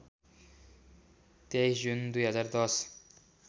२३ June २०१०